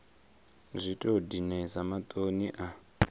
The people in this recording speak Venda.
zwi tou dinesa maṱoni a